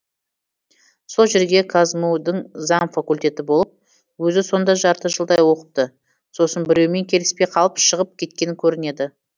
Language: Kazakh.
сол жерде қазму дің заң факультеті болыпты өзі сонда жарты жылдай оқыпты сосын біреумен келіспей қалып шығып кеткен көрінеді